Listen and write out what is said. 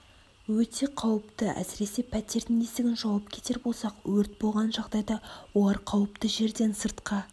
өте қауіпті әсіресе пәтердің есігін жауып кетер болсақ өрт болған жағдайда олар қауіпті жерден сыртқа